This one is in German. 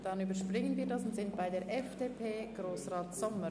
Dann überspringen wir ihn und kommen zur FDP-Fraktion mit Grossrat Sommer.